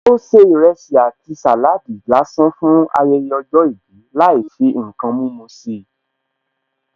Ó se ìrẹsì àti saladi lásán fún ayẹyẹ ọjọ́ ìbí láì fi ǹkan mímú sí i